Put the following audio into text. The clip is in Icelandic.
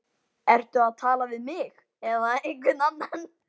Ertu að tala við mig, eða einhvern annan?